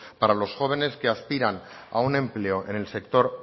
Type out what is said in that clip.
para los jóvenes que aspiran a un empleo en el sector